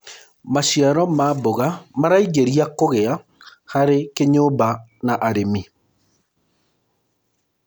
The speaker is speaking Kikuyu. maciaro ma mboga maraingiria kugia harĩ kĩnyumba na arĩmi